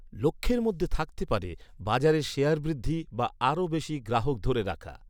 লক্ষ্যের মধ্যে থাকতে পারে, বাজারে শেয়ার বৃদ্ধি বা আরও বেশি গ্রাহক ধরে রাখা।